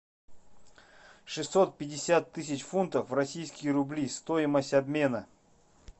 шестьсот пятьдесят тысяч фунтов в российские рубли стоимость обмена